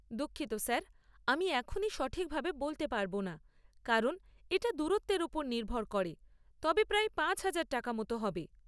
দুঃখিত স্যার, আমি এখনই সঠিকভাবে বলতে পারব না কারণ এটা দূরত্বের উপর নির্ভর করে, তবে প্রায় পাঁচহাজার টাকা মত হবে।